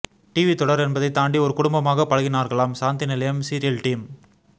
TV தொடர் என்பதைத்தாண்டி ஒரு குடும்பமாக பழகினார்களாம் சாந்தி நிலையம் சீரியல் டீம்